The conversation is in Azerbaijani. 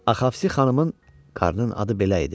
Axafsi xanımın, qarının adı belə idi.